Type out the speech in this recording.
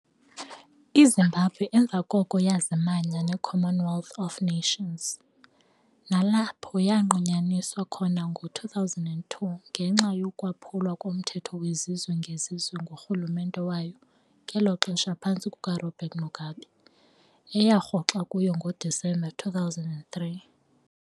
IZimbabwe emva koko yazimanya neCommonwealth of Nations, nalapho yanqunyanyiswa khona ngo 2002 ngenxa yokwaphulwa komthetho wezizwe ngezizwe ngurhulumente wayo ngelo xesha phantsi kukaRobert Mugabe. eyarhoxa kuyo ngoDisemba 2003.